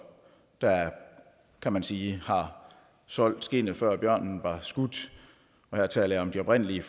der kan man sige har solgt skindet før bjørnen var skudt og her taler jeg om de oprindelige